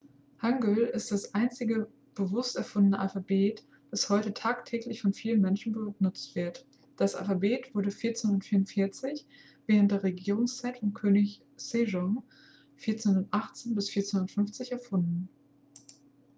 hangeul ist das einzige bewusst erfundene alphabet das heute tagtäglich von vielen menschen benutzt wird. das alphabet wurde 1444 während der regierungszeit von könig sejong 1418-1450 erfunden